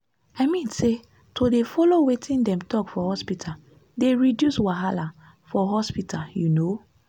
i mean say to dey follow wetin dem talk for hospita dey reduce wahala for hospital u know?